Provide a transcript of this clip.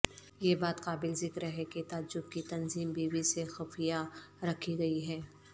یہ بات قابل ذکر ہے کہ تعجب کی تنظیم بیوی سے خفیہ رکھی گئی ہے